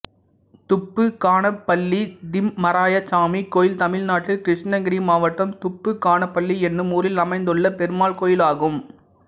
துப்பு கானப்பள்ளி திம்மராயசாமி கோயில் தமிழ்நாட்டில் கிருஷ்ணகிரி மாவட்டம் துப்பு கானப்பள்ளி என்னும் ஊரில் அமைந்துள்ள பெருமாள் கோயிலாகும்